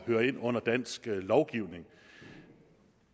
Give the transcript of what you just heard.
høre ind under dansk lovgivning